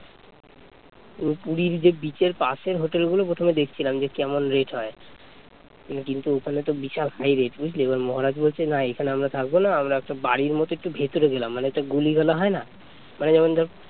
কিন্তু ওখানে তো বিশাল high rate বুঝলি, এবার মহারাজ বলছে না এখানে আমরা থাকবো না আমরা একটা বাড়ির মতো একটু ভিতরে গেলাম মানে একটা গোলি গালা হয় না মানে যেমন ধর